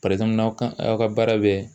aw ka aw ka baara bɛ